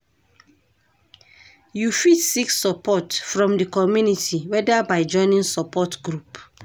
You fit seek support from di community whether by joining support group.